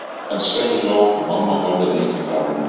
Frænkan skellihló og mamma horfði lengi á hana.